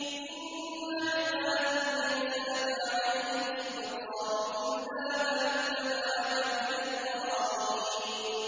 إِنَّ عِبَادِي لَيْسَ لَكَ عَلَيْهِمْ سُلْطَانٌ إِلَّا مَنِ اتَّبَعَكَ مِنَ الْغَاوِينَ